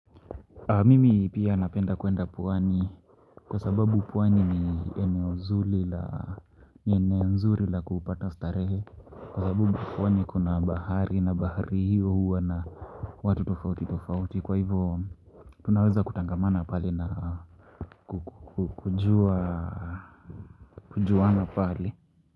Mimi pia napenda kuenda pwani kwa sababu pwani ni eneo nzuri la kupata starehe. Kwa sababu pwani kuna bahari na bahari hiyo huwa na watu tofauti tofauti kwa hivyo tunaweza kutangamana pale na kujuana pale.